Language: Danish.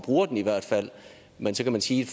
men så kan man sige